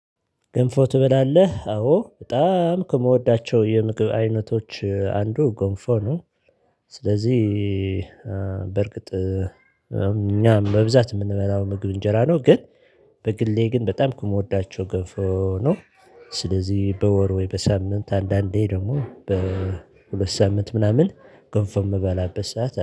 ገንፎ ትበላለህ? አዎ በጣም ከምወዳቸው የምግብ አይነቶች አንዱ ገንፎ ነው ስለዚህ በርግጥ እኛም በብዛት የምንበላው ምግብ እንጀራ ነው ግን በግሌ ግን በጣም ከምወዳቸው ገንፎ ነው ስለዚህ በወር ወይ በሳምንት አንዳንዴ ደግሞ በሁለት ሳምንት ምናምን ጎንፎ የምበላበት ሰዓት አለ